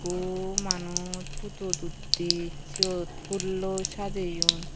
ekku manuj photot uttey syot phoolloi sajeyun.